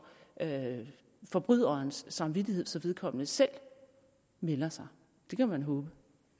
forbryderens samvittighed så vedkommende selv melder sig det kan man håbe